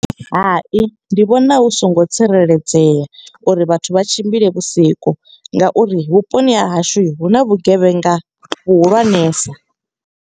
Hai ndi vhona hu songo tsireledzea, uri vhathu vha tshimbile vhusiku. Nga uri vhuponi ha hashu hu na vhugevhenga vhuhulwanesa.